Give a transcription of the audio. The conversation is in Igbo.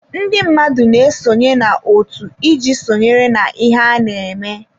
Ndị mmadụ na-esonye na otu iji sonyere na ihe ana-eme.